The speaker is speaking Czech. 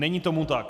Není tomu tak.